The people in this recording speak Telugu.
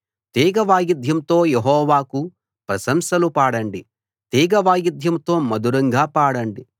తీగ వాయిద్యంతో యెహోవాకు ప్రశంసలు పాడండి తీగ వాయిద్యంతో మధురంగా పాడండి